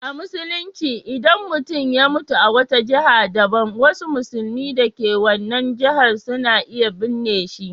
A Musulunci, idan mutum ya mutu a wata jiha daban, wasu musulmi da ke wannan jihar suna iya binne shi.